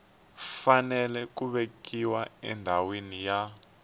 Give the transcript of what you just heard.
fanele ku vekiwa endhawini ya